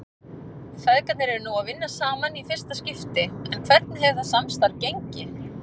Feðgarnir eru nú að vinna saman í fyrsta skipti en hvernig hefur það samstarf gengið?